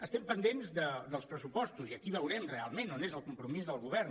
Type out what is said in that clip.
estem pendents dels pressupostos i aquí veurem realment on és el compromís del govern